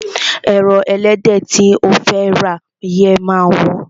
Ẹran ẹlẹ́dẹ̀ tí o fẹ́ rà yẹn máa wọ́n.